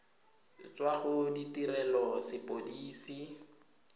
tswa go tirelo ya sepodisi